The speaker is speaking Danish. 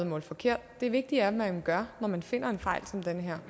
målt forkert det vigtige er hvad man gør når man finder en fejl som den her